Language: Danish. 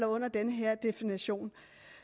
under den her definition